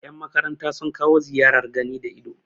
yanmakaranta sun kawo ziyarar gani da ido